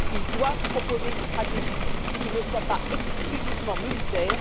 Ils doivent proposer une stratégie qui ne soit pas exclusivement militaire.